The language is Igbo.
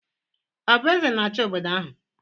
Ọ bụ eze na-achị obodo ahụ?